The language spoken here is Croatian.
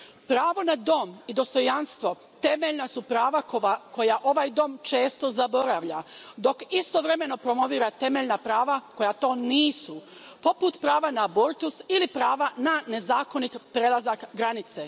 Pravo na dom i dostojanstvo temeljna su prava koja ovaj dom često zaboravlja, dok istovremeno promovira temeljna prava koja to nisu, poput prava na abortus ili prava na nezakonit prelazak granice.